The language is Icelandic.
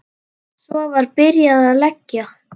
Svo var byrjað að leggja.